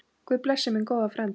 Guð blessi minn góða frænda.